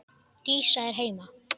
Dísa er heima!